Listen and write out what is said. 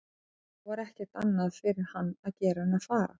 Nú var ekkert annað fyrir hann að gera en að fara.